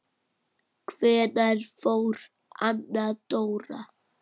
Hvenær fór Anna Dóra?